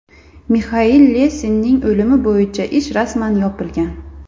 Mixail Lesinning o‘limi bo‘yicha ish rasman yopilgan.